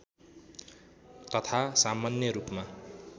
तथा सामान्य रूपमा